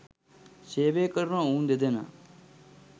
සේවය කරන ඔවුන් දෙදෙනා